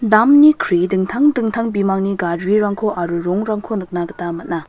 damni kri dingtang dingtang bimangni garirangko aro rongrangko nikna gita man·a.